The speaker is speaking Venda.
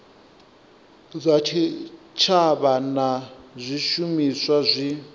zwa tshitshavha na zwishumiswa zwi